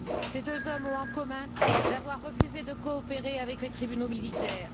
Ces deux hommes ont en commun d'avoir refusé de coopérer avec les tribunaux militaires.